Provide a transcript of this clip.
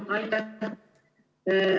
Aitäh!